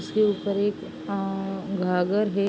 उसके ऊपर एक आ घाघर है।